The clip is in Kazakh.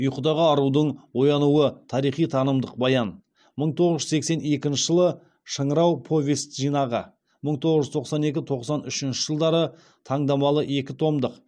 ұйқыдағы арудың оянуы тарихи танымдық баян мың тоғыз жүз сексен екінші жылы шыңырау повесть жинағы мың тоғыз жүз тоқсан екі тоқсан үшінші жылдары таңдамалы екі томдық